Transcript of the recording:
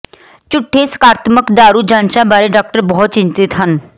ਝੂਠੇ ਸਕਾਰਾਤਮਕ ਦਾਰੂ ਜਾਂਚਾਂ ਬਾਰੇ ਡਾਕਟਰ ਬਹੁਤ ਚਿੰਤਤ ਹਨ